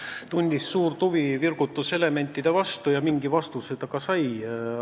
Ta tundis suurt huvi virgutuselementide vastu ja mingi vastuse ta ka sai.